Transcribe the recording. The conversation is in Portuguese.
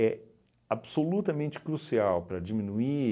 absolutamente crucial para diminuir